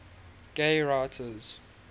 gay writers